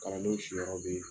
Kalandenw siyɔrɔ bɛ yen